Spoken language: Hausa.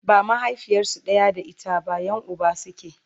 ba mahaifiyarsu ɗaya da ita ba Yan Uba suke